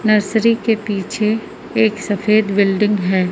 Nursery के पीछे एक सफेद बिल्डिंग है।